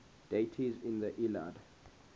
deities in the iliad